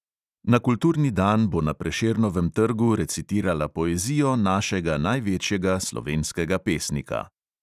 Na kulturni dan bo na prešernovem trgu recitirala poezijo našega največjega slovenskega pesnika.